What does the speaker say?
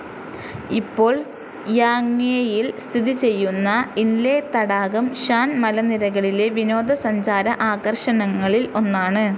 ഇപ്പോൾ യാങ്വേയിൽ സ്ഥിതി ചെയ്യുന്ന ഇൻലെ തടാകം ഷാൻ മലനിരകളിലെ വിനോദ സഞ്ചാര ആകർഷണങ്ങളിൽ ഒന്നാണ്.